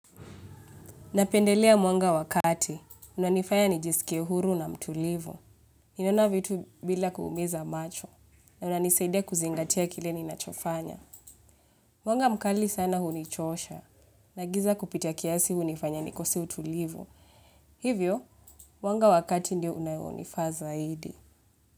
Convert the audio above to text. Napendelea mwanga wa kati, unanifaya nijisikie huru na mtulivu. Ninaona vitu bila kuumiza macho, na unanisaidea kuzingatia kile ninachofanya. Mwanga mkali sana hunichosha, na giza kupita kiasi hunifanya nikose utulivu. Hivyo, mwanga wa kati ndio unaonifaa zaidi.